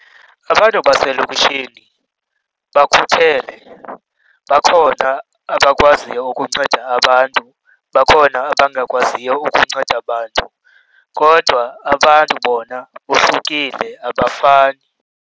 Abantu baselokishini bakhuthele. Bakhona abakwaziyo ukunceda abantu, bakhona abangakwaziyo ukunceda bantu, kodwa abantu bona bohlukile abafani.